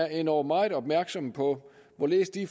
endog meget opmærksomme på hvorledes de